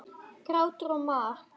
Grátur og mar.